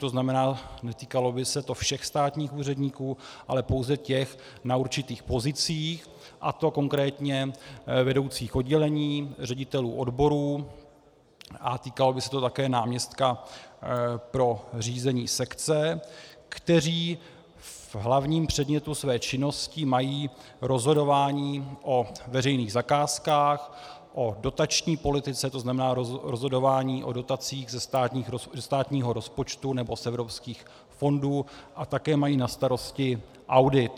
To znamená, netýkalo by se to všech státních úředníků, ale pouze těch na určitých pozicích - a to konkrétně vedoucích oddělení, ředitelů odborů, a týkalo by se to také náměstka pro řízení sekce -, kteří v hlavním předmětu své činnosti mají rozhodování o veřejných zakázkách, o dotační politice, to znamená rozhodování o dotacích ze státního rozpočtu nebo z evropských fondů, a také mají na starosti audit.